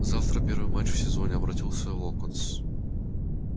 завтра первый матч в сезоне обратился локонс